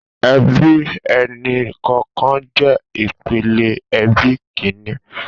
Èbí ẹni kọọkàn jè ipélé èbí kìní